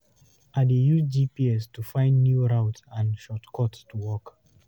I dey use GPS to find new routes and shortcuts to work.